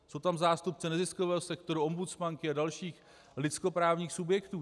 Jsou tam zástupci neziskového sektoru, ombudsmanky a dalších lidskoprávních subjektů.